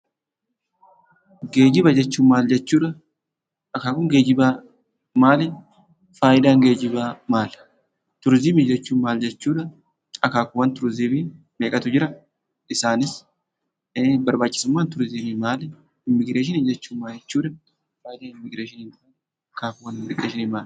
Geejjiba jechuun maal jechuudha? akaakuun geejjibaa maali? faayidaan geejjibaa maali? Turizimii jechuun maal jechuudha? akaakuuwwan turizimii meeqatu jira? isaanis barbaachisummaan turizimii maali? Immigireeshinii jechuun maal jechuudha? faayidaan immigireeshiniin maali? akaakuuwwan immigireeshinii maali?